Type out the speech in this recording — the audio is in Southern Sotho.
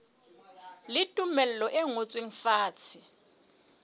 le tumello e ngotsweng fatshe